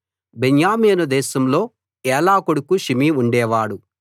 బెన్యామీను దేశంలో ఏలా కొడుకు షిమీ ఉండేవాడు